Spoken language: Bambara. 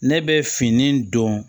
Ne bɛ fini don